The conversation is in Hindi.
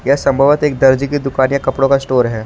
यह संभवत एक दर्जी की दुकान या कपड़ों का स्टोर है।